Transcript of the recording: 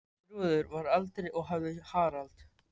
Þrúður var eldri og hafði Harald.